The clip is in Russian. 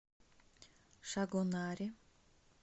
шагонаре